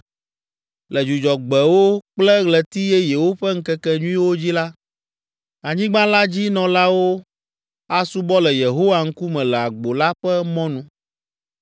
Le Dzudzɔgbewo kple Ɣleti Yeyewo ƒe ŋkekenyuiwo dzi la, anyigba la dzi nɔlawo asubɔ le Yehowa ŋkume le agbo la ƒe mɔnu.